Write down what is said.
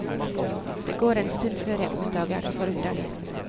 Det går en stund før jeg oppdager det forunderlige.